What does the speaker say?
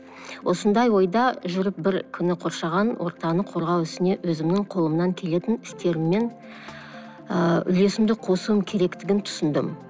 осындай ойда жүріп бір күні қоршаған ортаны қорғау ісіне өзімнің қолымнан келетін істеріммен ыыы үлесімді қосуым керектігін түсіндім